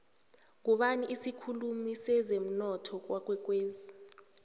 ngubani isikhulumi sezemunotho kwakwekwezi